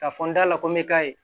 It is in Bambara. Ka fɔ n dala ko n bɛ k'a ye